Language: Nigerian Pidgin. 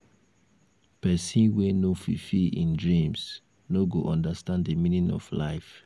pesin wey no fulfill im dreams no go understand di meaning of life.